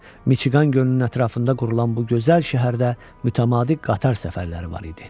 Michigan gölünün ətrafında qurulan bu gözəl şəhərdə mütəmadi qatar səfərləri var idi.